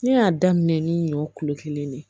Ne y'a daminɛ ni ɲɔ kulo kelen ne ye